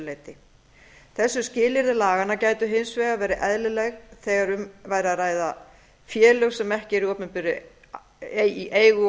leyti þessi skilyrði laganna gætu hins vegar verið eðlileg þegar um væri að ræða félög sem ekki væru í eigu